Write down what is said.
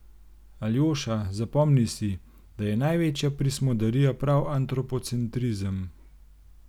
Aljoša, zapomni si, da je največja prismodarija prav antropocentrizem.